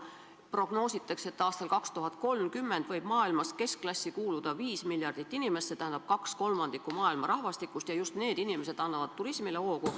Prognoositakse, et aastal 2030 võib maailmas keskklassi kuuluda 5 miljardit inimest, st kaks kolmandikku maailma rahvastikust, ja just need inimesed annavad turismile hoogu.